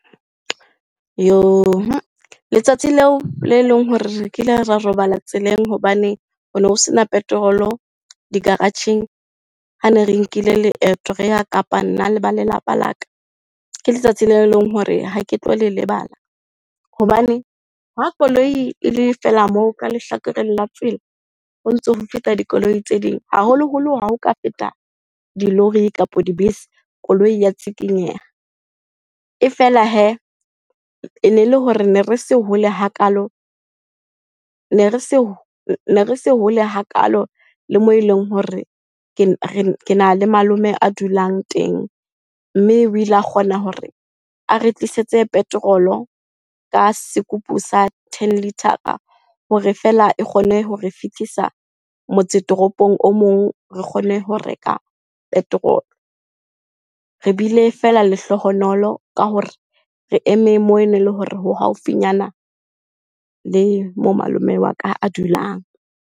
Letsatsi leo le leng hore re kile ra robala tseleng hobane o no sena petrol-o di-garage-eng, ha ne re nkile leeto re ya Kapa nna le ba lelapa la ka, ke letsatsi le leng hore ha ke tlo le lebala. Hobane ha koloi e le fela moo ka lehlakoreng la tsela, ho ntso ho feta dikoloi tse ding, haholoholo ha o ka feta dilori kapa dibese, koloi ya tshikinyeha. E fela hee, e ne le hore ne re se hole hakalo, ne re se se hole hakalo le moo eleng hore kena le malome a dulang teng. Mme o ile a kgona hore a re tlisetse petrol-o ka sekupu sa ten litre-a hore fela e kgone ho re fitisa motse toropong o mong, re kgone ho reka petrol-o. Re bile fela lehlohonolo ka hore, re eme moo e neng le hore ho haufinyana le moo malome wa ka a dulang.